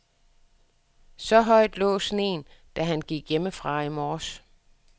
Så højt lå sneen, da han gik hjemmefra i morges.